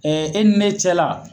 e ni ne cɛ la.